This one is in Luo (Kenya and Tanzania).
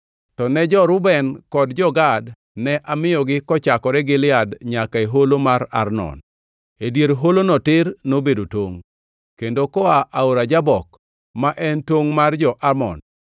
To ne jo-Reuben kod jo-Gad, ne amiyogi kochakore Gilead nyaka e holo mar Arnon (e dier holono tir nobedo tongʼ) kendo koa Aora Jabok ma en tongʼ mar jo-Amon.